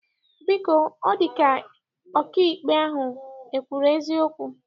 Biko, ọ dị gị ka ọkaikpe ahụ ekwuru eziokwu?